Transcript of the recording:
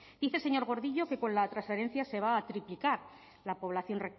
dice señor gordillo que con la transferencia se va a triplicar la población